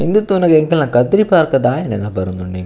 ಇಂದು ತೂನಗ ಎಂಕಲ್ನ ಕದ್ರಿ ಪಾರ್ಕ್ ದಾಯೆ ನೆನಪು ಬರೊಂದುಂಡು ಎಂಕ್.